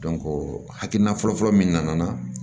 hakilina fɔlɔfɔlɔ min nana